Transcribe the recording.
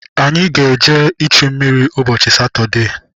Anyị ga- eje ịchụ mmiri ụbọchị Satọdee.